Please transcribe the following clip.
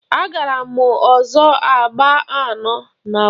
Agbara m ọsọ agba anọ na nwata.